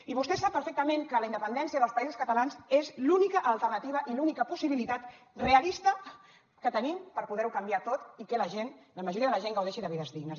i vostè sap perfectament que la independència dels països catalans és l’única alternativa i l’única possibilitat realista que tenim per poder ho canviar tot i que la gent la majoria de la gent gaudeixi de vides dignes